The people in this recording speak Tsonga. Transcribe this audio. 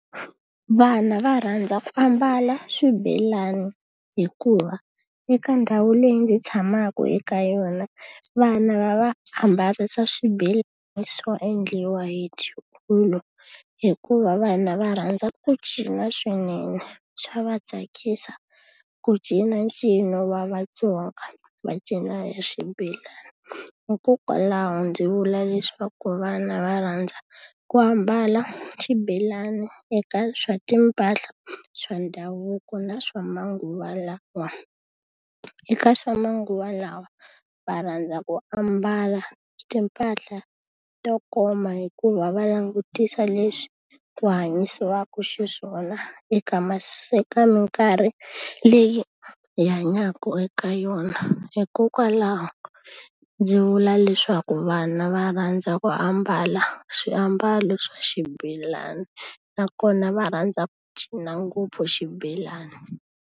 Vana va rhandza ku ambala swibelani hikuva eka ndhawu leyi ndzi tshamaka eka yona, vana va va ambarisa swibelani swo endliwa hi tiulu. Hikuva vana va rhandza ku cina swinene swa va tsakisa ku cina ncino wa vaTsonga, va cina ya xibelani. Hikokwalaho ndzi vula leswaku vana va rhandza ku ambala xibelani eka swa timpahla swa ndhavuko na swa manguva lawa. Eka swa manguva lawa va rhandza ku ambala timpahla to koma hikuva va langutisa leswi ku hanyisaka xiswona eka minkarhi leyi hi hanyaka eka yona. Hikokwalaho ndzi vula leswaku vana va rhandza ku ambala swiambalo swa xibelani, nakona va rhandza ku cina ngopfu xibelani.